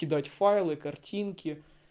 кидать файлы картинки